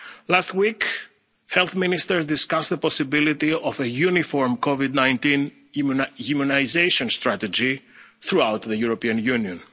any of them. Last week, health ministers discussed the possibility of a uniform COVID 19 immunisation strategy throughout the European